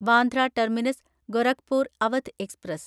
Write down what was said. Bandra terminus Gorakhpur Awadh express